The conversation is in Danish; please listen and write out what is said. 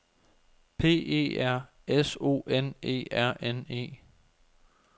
P E R S O N E R N E